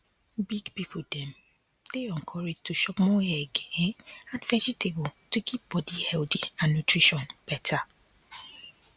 big people dem dey encouraged to chop more egg um and vegetable to keep body healthy and nutrition better